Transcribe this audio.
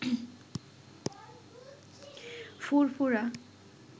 ফুরফুরা